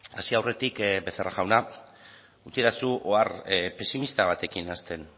hasi aurretik becerra jauna utzidazu ohar pesimista batekin hasten